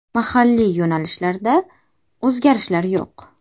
Mahalliy yo‘nalishlarda o‘zgarishlar yo‘q.